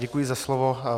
Děkuji za slovo.